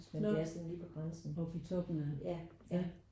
Nårh op i toppen af? ja